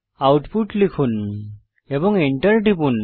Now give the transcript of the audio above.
output লিখুন এবং enter টিপুন